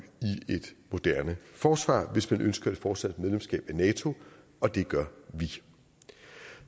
i et moderne forsvar hvis man ønsker et fortsat medlemskab af nato og det gør vi